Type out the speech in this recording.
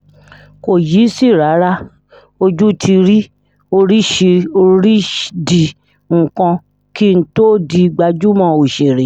kò yìísì rárá o ojú ti rí oríṣirídìí nǹkan kí n tóó di gbajúmọ̀ òṣèré